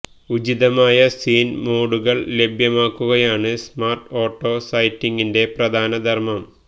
ഉചിതമായ സീന് മോഡുകള് ലഭ്യമാക്കുകയാണ് സ്മാര്ട് ഓട്ടോ സെറ്റിംഗിന്റെ പ്രധാന ധര്മ്മം